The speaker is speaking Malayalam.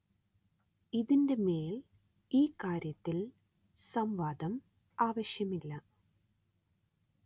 ഇതിന്റെ മേല്‍ ഈ കാര്യത്തില്‍ സം‌വാദം ആവശ്യമില്ല